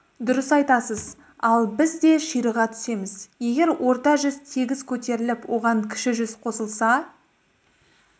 дұрыс айтасыз ал біз де ширыға түсеміз егер орта жүз тегіс көтеріліп оған кіші жүз қосылса